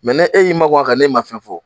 ne e y'i makun a kan n'e ma fɛn fɔ